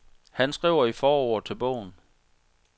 Han skriver i forordet til bogen.